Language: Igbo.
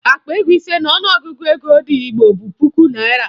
Akpa ego ise n'ọnụọgụgụ ego ndị Igbo bụ puku naịra